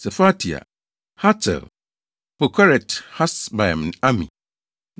Sefatia, Hatil, 1 Pokeret-Hasebaim ne Ami. 1